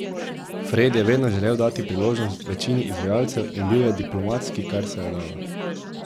Fred je vedno želel dati priložnost večini izvajalcev in bil je diplomatski, kar se je dalo.